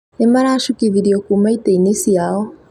Nĩ maracukithirio kuuma itĩ-inĩ ciao.